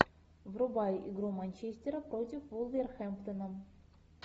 врубай игру манчестера против вулверхэмптона